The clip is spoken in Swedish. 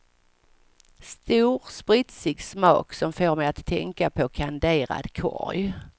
Stor spritsig smak som får mig att tänka på kanderad korg.